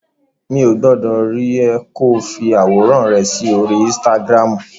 Mi ò gbọdọ̀ rí ẹ ko fi àwòrán rẹ sí orí Instagram.